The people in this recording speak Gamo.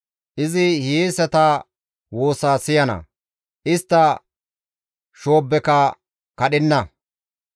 Izi hiyeesata woosaa siyana; istta shoobbeka kadhenna.